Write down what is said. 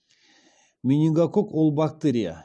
менингококк ол бактерия